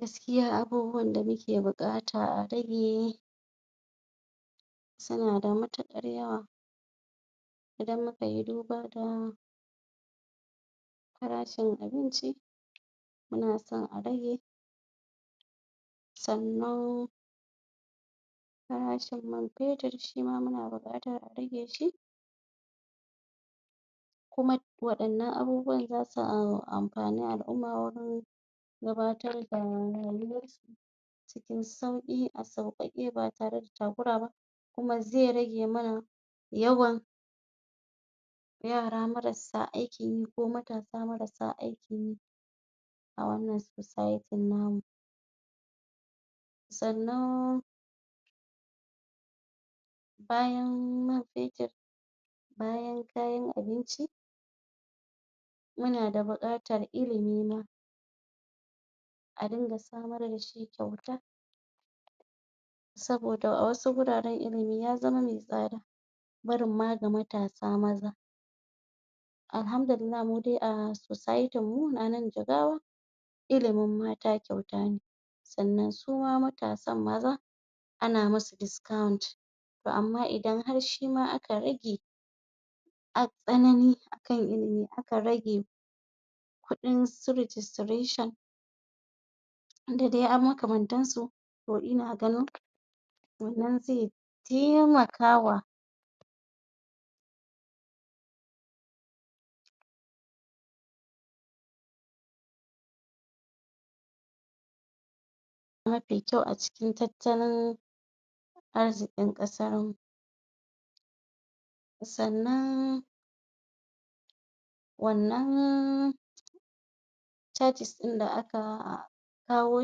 Gaskiya abubuwan da muke buƙata a rage su na da mutuƙar yawa. Idan muka yi duba da farashin abinci, munasan a rage sannan farashin man fetir shima muna buƙatar a rage shi. Kuma waɗannan abubuwa za su amfani al'umma wurin gurin gabatar da rayuwarsu cikin sauƙi, a sauƙaƙe ba tare da takura ba. Kuma zai rage mana yawan yara marasa aikin yi ko matasa marasa aikin yi a wannan society namu. Sannan bayan man fetir, bayan kayan abinci, muna da buƙatar ilimi ma a dinga samar dashi kyauta. Saboda a wasu guraran ilimi ya zama me tsada, barin ma ga matasa maza alhamdulillah mudai a society mu a nan jigawa ilimin mata kyauta ne sannan suma matasan maza ana musu discount. To amma idan har shima aka rage tsanani akai aka rage kuɗinsu registration da dai makamantansu, to ina ganin wannan taimakawa mafi kyau a cikin tattalin arzikin ƙasarmu. Sannan wannan charges ɗin da aka kawo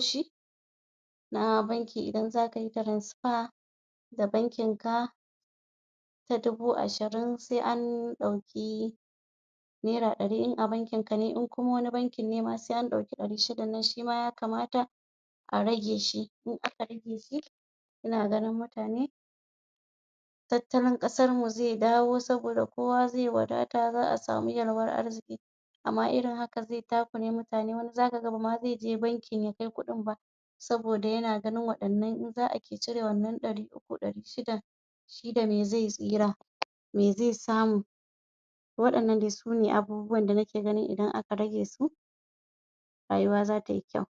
shi na banki idan za ka yi transfer da bankin ka ta dubu ashirin, sai an ɗauki naira ɗari in a bankin ka ne, in kuma bankin ne in kuma wani bankin ne ma sai an ɗauki dari. Shi dannan shima a rageshi, idan aka rageshi ina ganin mutane tattalin ƙasarmu zai dawo saboda kowa zai wadata, za'a samu yalwar arziki. Amma irin haka zai takure mutane, za ka ga bama zai je banki ya kai kuɗin ba saboda ya na ganin waɗannan idan za'a ke cire waannan dari uku dari shida shi dame zai tsira me zai samu waɗannan sune abubuwan da nake ganin idan aka ragesu rayuwa za ta yi kyau.